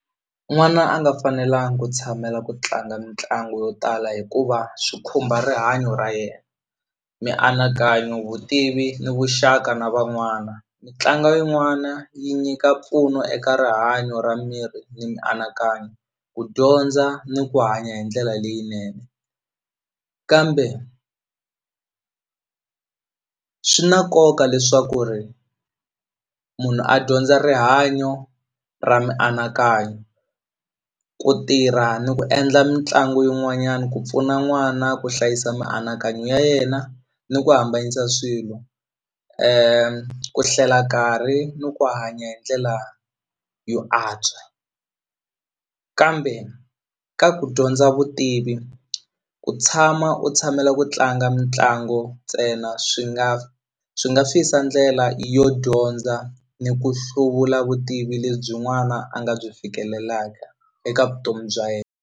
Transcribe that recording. N'wana a nga fanelangi ku tshamela ku tlanga mitlangu yo tala hikuva swi khumba rihanyo ra yena mianakanyo vutivi ni vuxaka na van'wana mitlangu yin'wana yi nyika mpfuno eka rihanyo ra miri ni mianakanyo ku dyondza ni ku hanya hi ndlela leyinene kambe swi na nkoka leswaku ri munhu a dyondza rihanyo ra mianakanyo ku tirha ni ku endla mitlangu yin'wanyana ku pfuna n'wana ku hlayisa mianakanyo ya yena ni ku hambanyisa swilo ku hlela nkarhi ni ku hanya hi ndlela yo antswa kambe ka ku dyondza vutivi u tshama u tshamela ku tlanga mitlangu ntsena swi nga swi nga siyisa ndlela yo dyondza ni ku hluvula vutivi lebyi n'wana a nga byi fikelelaka eka vutomi bya yena.